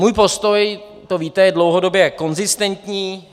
Můj postoj, to víte, je dlouhodobě konzistentní.